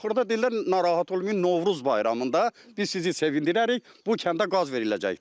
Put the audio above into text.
Axırda dedilər narahat olmayın, Novruz bayramında biz sizi sevindirərik, bu kəndə qaz veriləcəkdir.